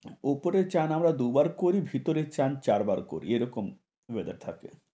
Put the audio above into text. উপরে চান আমরা দুবার করি, ভিতরে চান চার বার করি। এরকম weather থাকে।